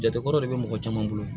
Jate kɔrɔ de bɛ mɔgɔ caman bolo